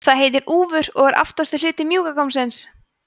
það heitir úfur og er aftasti hluti mjúka gómsins